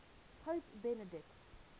pope benedict